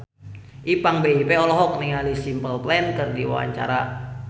Ipank BIP olohok ningali Simple Plan keur diwawancara